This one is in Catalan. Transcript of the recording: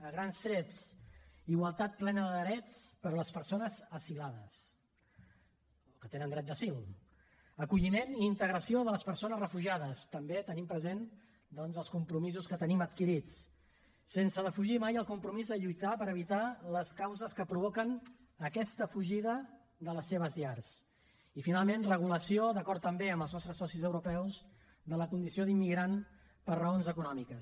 a grans trets igualtat plena de drets per a les persones asilades o que tenen dret d’asil acolliment i integració de les persones refugiades també tenint presents els compromisos que tenim adquirits sense defugir mai el compromís de lluitar per evitar les causes que provoquen aquesta fugida de les seves llars i finalment regulació d’acord també amb els nostres socis europeus de la condició d’immigrant per raons econòmiques